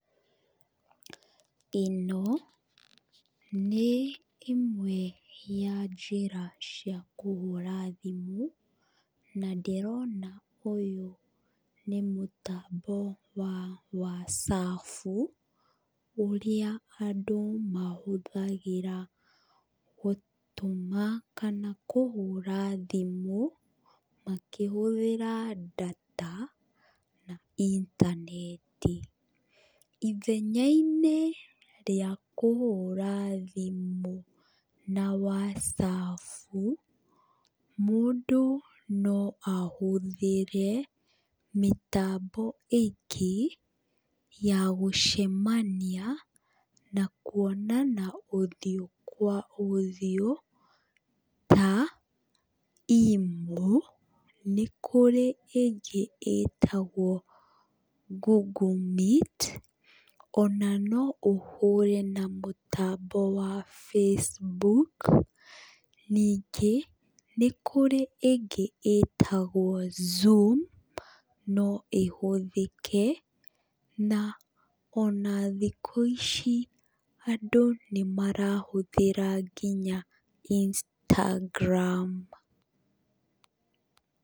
ĩno nĩ ĩmwe ya njĩra cia kũhũra thimũ, na ndĩrona ũyũ nĩ mũtambo wa cafu, ũrĩa andũ mahũthagĩra gũtũma kana kũhũra thimũ, makĩhũthĩra data na intaneti, ithenya-inĩ rĩa kũhũra thimũ, na wacabu mũndũ no ahũthĩre mĩtambo iki ya gũcemania na kuonana ũthiũ kwa ũthiũ ta Imo, nĩ kũrĩ ĩngĩ ĩtagwo Google Meet, ona no ũhũre na mũtambo wa Facebook, ningĩ nĩ kũrĩ ĩngĩ ĩtagwo Zoom no ĩhũthĩke na ona thikũ ici andũ nĩ marahũthĩra nginya Instagram.